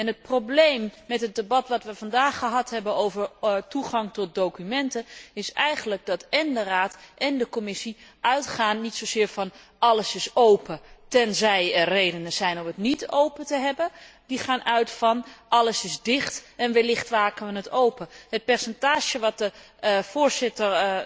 Het probleem in het debat dat we vandaag gehad hebben over toegang tot documenten, is eigenlijk dat én de Raad én de Commissie niet zozeer als uitgangspunt hebben alles is open, tenzij er redenen zijn om het niet open te hebben. Zij gaan daarentegen uit van alles is dicht, en wellicht maken we het open. Het percentage dat de Raadsvoorzitter